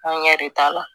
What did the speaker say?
Angɛrɛ de t'a la